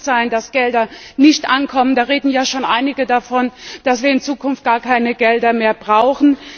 Es darf nicht sein, dass Gelder nicht ankommen. Da reden schon einige davon, dass wir in Zukunft gar keine Gelder mehr brauchen.